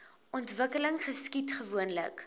ontwikkeling geskied gewoonlik